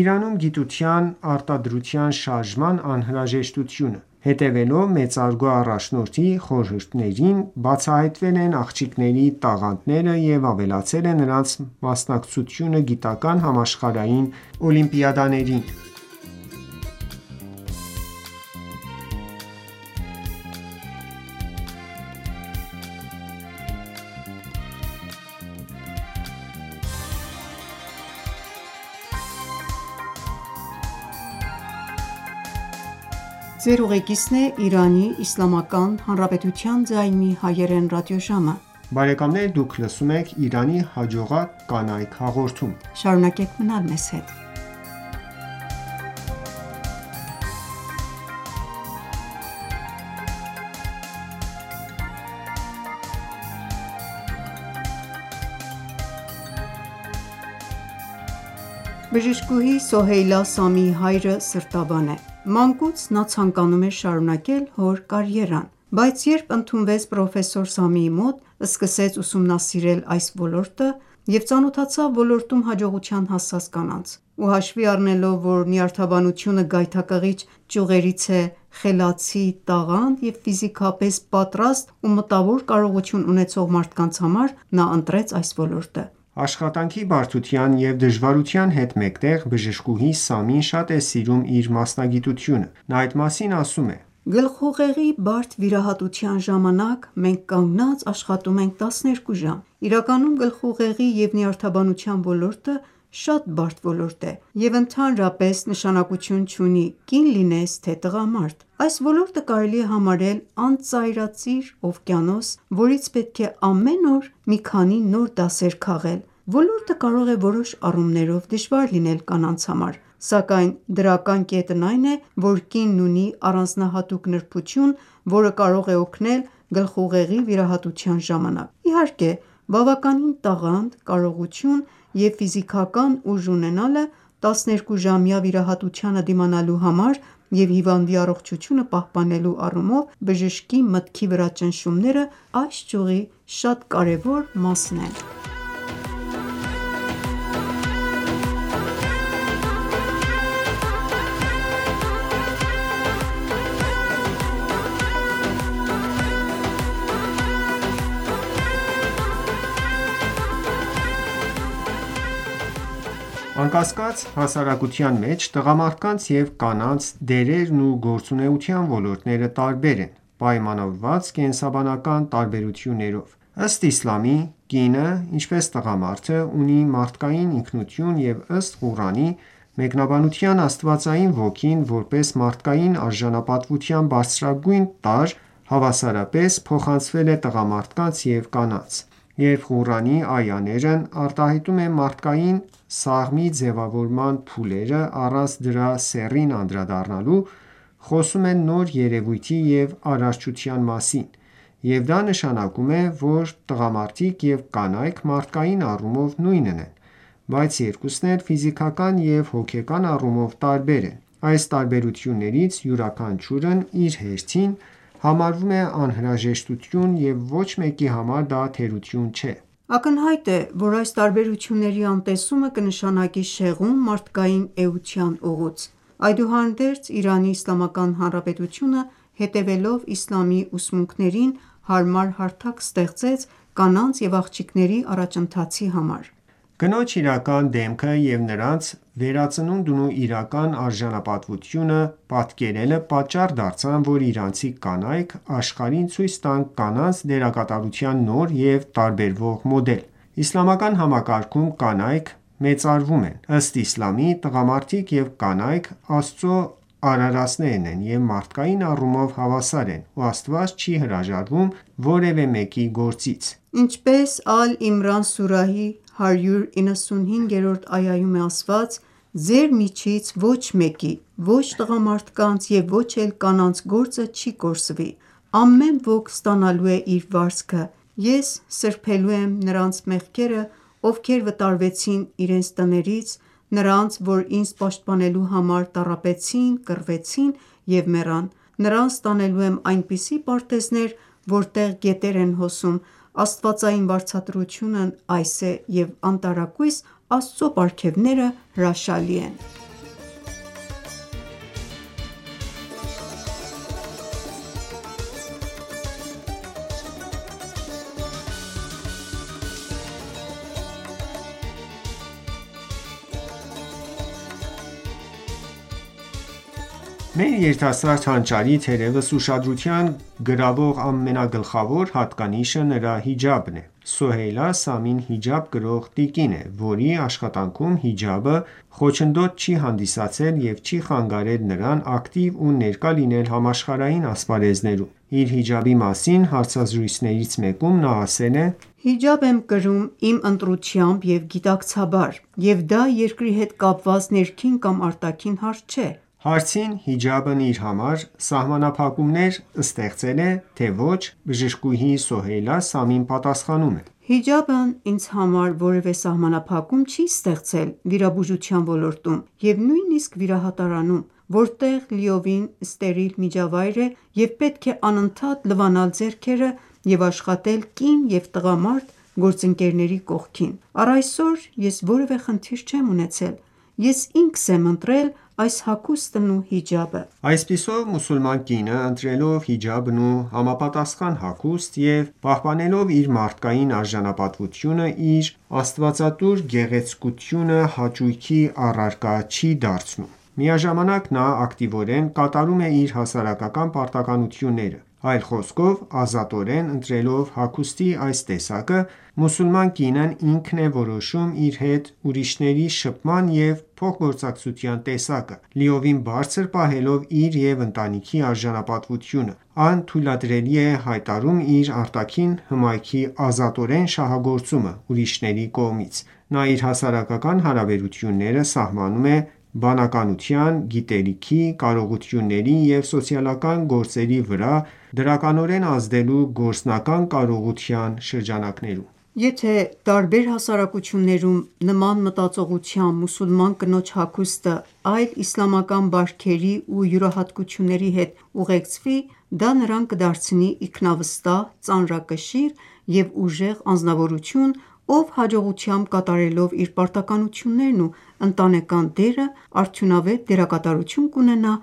Իրանում գիտության արտադրության շարժման անհրաժեշտությունը: Հետևելով մեծարգո առաջնորդի խորհուրդներին բացահայտվել են աղջիկների տաղանդները և ավելացել է նրանց մասնակցությանը գիտական համաշխարհային օլիմպիադաներին: Բժշկուհի Սոհեյլա Սամիի հայրը սրտաբան է: Մանկուց նա ցանկանում էր շարունակել հոր կարիերան։ Բայց երբ ընդունվեց պրոֆեսոր Սամիի մոտ, սկսեց ուսումնասիրել այս ոլորտը և ծանոթացավ ոլորտում հաջողության հասած կանանց: Ու հաշվի առնելով, որ նյարդաբանությունը գայթակղիչ ճյուղերից է խելացի, տաղանդ և ֆիզիկապես պատրաստ ու մտավոր կարողություն ունեցող մարդկանց համար, նա ընտրեց այս ոլորտը։ Աշխատանքի բարդության և դժվարության հետ մեկտեղ, բժշկուհի Սամին շատ է սիրում իր մասնագիտությունը: Նա այդ մասին ասում է. «Գլխուղեղի բարդ վիրահատության ժամանակ մենք կանգնած աշխատում ենք 12 ժամ։ Իրականում գլխուղեղի և նյարդաբանության ոլորտը շատ բարդ ոլորտ է, և ընդհանրապես նշանակություն չունի կին լինես թե տղամարդ: Այս ոլորտը կարելի է համարել անծայրածիր օվկիանոս, որից պետք է ամեն օր մի քանի նոր դասեր քաղել։ Ոլորտը կարող է որոշ առումներով դժվար լինել կանանց համար, սակայն դրական կետն այն է, որ կինն ունի առանձնահատուկ նրբություն, որը կարող է օգնել գլխուղեղի վիրահատության ժամանակ: Իհարկե, բավականին տաղանդ, կարողություն և ֆիզիկական ուժ ունենալը 12-ժամյա վիրահատությանը դիմանալու համար և հիվանդի առողջությունը պահպանելու առումով բժշկի մտքի վրա ճնշումները այս ճյուղի շատ կարևոր մասն են»: Անկասկած, հասարակության մեջ տղամարդկանց և կանանց դերերն ու գործունեության ոլորտները տարբեր են՝ պայմանավորված կենսաբանական տարբերություններով: Ըստ իսլամի՝ կինը, ինչպես տղամարդը, ունի մարդկային ինքնություն և ըստ Ղուրանի մեկնաբանության՝ աստվածային ոգին, որպես մարդկային արժանապատվության բարձրագույն տարր, հավասարապես փոխանցվել է տղամարդկանց և կանանց: Երբ Ղուրանի արտահայտում են մարդկային սաղմի ձևավորման փուլերը, առանց դրա սեռին անդրադառնալու, խոսում են նոր երևույթի և արարչության մասին, և դա նշանակում է, որ տղամարդիկ և կանայք մարդկային առումով նույնն են: Բայց երկուսն էլ ֆիզիկական և հոգեկան առումով տարբեր են: Այս տարբերություններից յուրաքանչյուրն իր հերթին համարվում է անհրաժեշտություն և ոչ մեկի համար դա թերություն չէ։ Ակնհայտ է, որ այս տարբերությունների անտեսումը կնշանակի շեղում մարդկային էության ուղուց: Այդուհանդերձ, Իրանի Իսլամական Հանրապետությունը, հետևելով իսլամի ուսմունքներին, հարմար հարթակ ստեղծեց կանանց և աղջիկների առաջընթացի համար: Կնոջ իրական դեմքը և նրանց վերածնունդն ու իրական արժանապատվությունը պատկերելը պատճառ դարձան, որ իրանցի կանայք աշխարհին ցույց տան կանանց դերակատարության նոր և տարբերվող մոդել: Իսլամական համակարգում կանայք մեծարվում են: Ըստ իսլամի, տղամարդիկ և կանայք Աստծու արարածներ են, և մարդկայն առումով հավասար են, ու Աստված չի հրաժարվում որևէ մեկի գործից: Ինչպես Ալ-Իմրան սուրահի 195-րդ այայում է ասված «... Ձեր միջից ոչ մեկի, ոչ տղամարդկանց և ոչ էլ կանանց գործը չի կորսվի: Ամեն ոք ստանալու է իր վարձքը: Ես սրբելու եմ նրանց մեղքերը, ովքեր վտարվեցին իրենց տներից, նրանց, որ ինձ պաշտպանելու համար տառապեցին, կռվեցին և մեռան: Նրանց տանելու եմ այնպիսի պարտեզներ, որտեղ գետեր են հոսում: Աստվածային վարձատրությունն այս է և անտարակույս, Աստծու պարգևները հրաշալի են»: Մեր երիտասարդ հանճարի, թերևս, ուշադրություն գրավող ամենագլխավոր հատկանիշը նրա հիջաբն է։ Սոհեյլա Սամին հիջաբ կրող տիկին է, որի աշխատանքում հիջաբը խոչընդոտ չի հանդիսացել և չի խանգարել նրան ակտիվ ու ներկա լինել համաշխարհային ասպարեզներում: Իր հիջաբի մասին հարցազրույցներից մեկում նա ասել է. «Հիջաբ եմ կրում իմ ընտրությամբ և գիտակցաբար, և դա երկրի հետ կապված ներքին կամ արտաքին հարց չէ»։ Հարցին՝ հիջաբն իր համար սահմանափակումներ ստեղծե՞լ է, թե՞ ոչ, բժշկուհի Սոհեյլա Սամին պատասխանում է. «Հիջաբն ինձ համար որևէ սահմանափակում չի ստեղծել վիրաբուժության ոլորտում, և նույնիսկ վիրահատարանում, որտեղ լիովին ստերիլ միջավայր է, և պետք է անընդհատ լվանալ ձեռքերը և աշխատել կին և տղամարդ գործընկերների կողքին: Առ այսօր ես որևէ խնդիր չեմ ունեցել։ Ես ինքս եմ ընտրել այս հագուստն ու հիջաբը»։ Այսպիսով, մուսուլման կինը ընտրելով հիջաբն ու համապատասխան հագուստ, և պահպանելով իր մարդկային արժանապատվությունը, իր աստվածատուր գեղեցկությունը հաճույքի առարկա չի դարձնում: Միաժամանակ նա ակտիվորեն կատարում է իր հասարակական պարտականությունները։ Այլ խոսքով՝ ազատորեն ընտրելով հագուստի այս տեսակը, մուսուլման կինն ինքն է որոշում իր հետ ուրիշների շփման և փոխգործակցության տեսակը, լիովին բարձր պահելով իր և ընտանիքի արժանապատվությունը, անթույլատրելի է հայտարարում իր արտաքին հմայքի ազատորեն շահագործումը ուրիշների կողմից: Նա իր հասարակական հարաբերությունները սահմանում է բանականության, գիտելիքի, կարողությունների և սոցիալական գործերի վրա դրականորեն ազդելու գործնական կարողության շրջանակներում: Եթե տարբեր հասարակություններում նման մտածողությամբ մուսուլման կնոջ հագուստը այլ իսլամական բարքերի ու յուրահատկությունների հետ ուղեկցվի, դա նրան կդարձնի իքնավստահ ծանրակշիռ և ուժեղ անձնավորություն, ով հաջողությամբ կատարելով իր պարտականություններն ու ընտանեկան դերը, արդյունավետ դերակատարություն կունենա